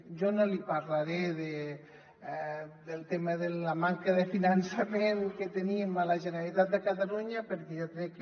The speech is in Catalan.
jo no li parlaré del tema de la manca de finançament que tenim a la generalitat de catalunya perquè jo crec que